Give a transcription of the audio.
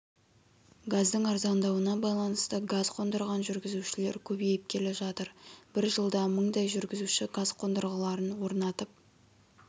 газдың арзандауына байланысты газ қондырған жүргізушілер көбейіп келе жатыр бір жылда мыңдай жүргізуші газ қондырғыларын орнатып